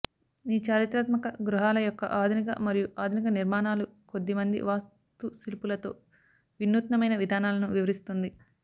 ఈ చారిత్రాత్మక గృహాల యొక్క ఆధునిక మరియు ఆధునిక నిర్మాణాలు కొద్ది మంది వాస్తుశిల్పులతో వినూత్నమైన విధానాలను వివరిస్తుంది